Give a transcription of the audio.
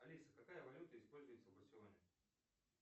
алиса какая валюта используется в барселоне